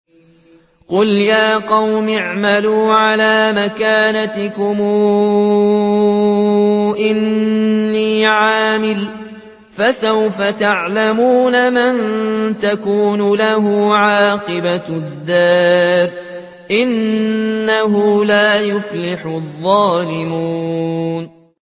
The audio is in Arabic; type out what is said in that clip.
قُلْ يَا قَوْمِ اعْمَلُوا عَلَىٰ مَكَانَتِكُمْ إِنِّي عَامِلٌ ۖ فَسَوْفَ تَعْلَمُونَ مَن تَكُونُ لَهُ عَاقِبَةُ الدَّارِ ۗ إِنَّهُ لَا يُفْلِحُ الظَّالِمُونَ